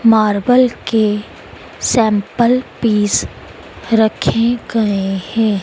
Marble के sample piece रखे गए है।